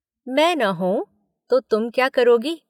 मैं न होऊं तो तुम क्या करोगी?